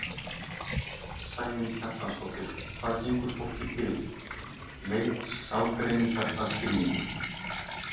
Sæunn Kjartansdóttir, Hvað gengur fólki til?: Leit sálgreiningar að skilningi.